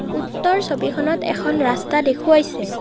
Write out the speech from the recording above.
উত্তৰ ছবিখনত এখন ৰাস্তা দেখুৱাইছে।